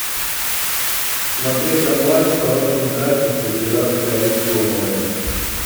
смотреть онлайн в хорошем качестве пираты карибского моря